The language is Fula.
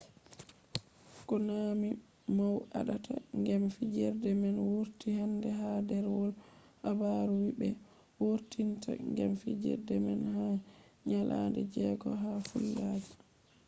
konami mow aɗata gem fijerde man wurti hande ha ɗerwol habaru wii ɓe wurtinta gem fijerde man ha nyalaɗe jego ha falluja